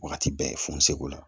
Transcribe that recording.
Wagati bɛɛ funu segu la